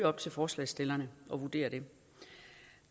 op til forslagsstillerne at vurdere det